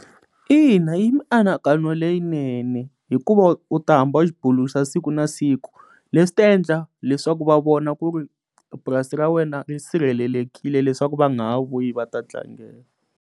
Ina, yi mianakanyo leyinene hikuva u ta hambi u xi bulusa siku na siku leswi ta endla leswaku va vona ku ri purasi ra wena ri sirhelelekile leswaku va nga ha vuyi va ta tlangela.